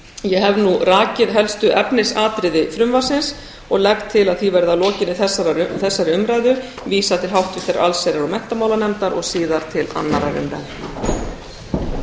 ég hef nú rakið helstu efnisatriði frumvarpsins og legg til að því verði að lokinni þessari umræðu vísað til annarrar umræðu og háttvirtrar allsherjar og menntamálanefndar